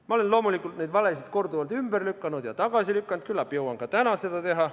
Ma olen loomulikult neid valesid korduvalt ümber lükanud ja tagasi lükanud, küllap jõuan ka täna seda teha.